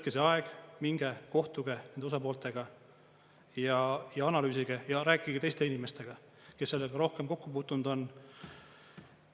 Võtke see aeg, minge kohtuge nende osapooltega ja analüüsige ja rääkige teiste inimestega, kes sellega rohkem kokku puutunud on.